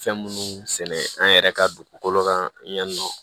Fɛn munnu sɛnɛ an yɛrɛ ka dugukolo kan yan nɔ